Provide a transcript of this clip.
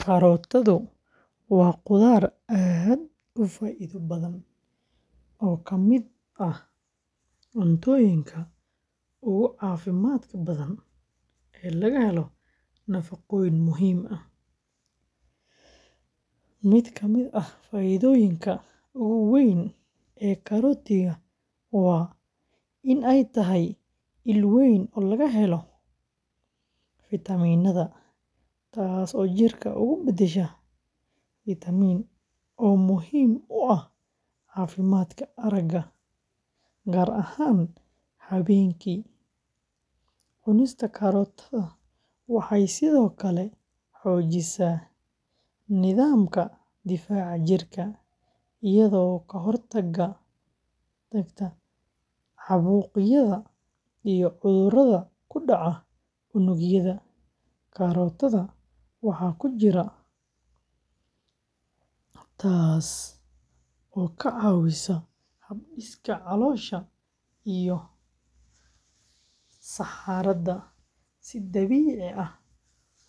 Karootadu waa khudrad aad u faa’iido badan oo ka mid ah cuntooyinka ugu caafimaadka badan ee laga helo nafaqooyin muhiim ah. Mid ka mid ah faa’iidooyinka ugu weyn ee karootada waa in ay tahay il weyn oo laga helo, taasoo jirka uga beddesha, oo muhiim u ah caafimaadka aragga, gaar ahaan habeenkii. Cunista karootada waxay sidoo kale xoojisaa nidaamka difaaca jirka, iyadoo ka hortagta caabuqyada iyo cudurrada ku dhaca unugyada. Karootada waxa ku jira badan, taas oo ka caawisa hab-dhiska caloosha iyo saxarada si dabiici ah